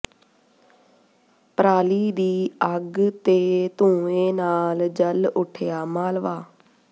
ਪਰਾਲੀ ਦੀ ਅੱਗ ਤੇ ਧੂੰਏਾ ਨਾਲ ਜਲ ਉੱਠਿਆ ਮਾਲਵਾ